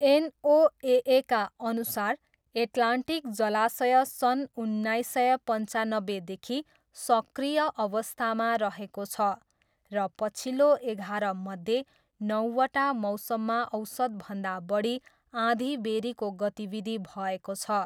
एनओएएका अनुसार एट्लान्टिक जलाशय सन् उन्नाइस सय पन्चान्नब्बेदेखि सक्रिय अवस्थामा रहेको छ र पछिल्लो एघारमध्ये नौवटा मौसममा औसतभन्दा बढी आँधीबेह्रीको गतिविधि भएको छ।